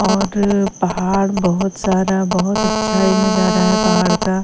और पहाड़ बहुत सारा बहुत अच्छा ही नजारा है पहाड़ का--